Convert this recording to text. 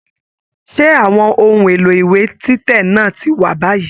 Ṣe àwọn ohùn èlò ìwé títẹ̀ náà ti wà báyìí?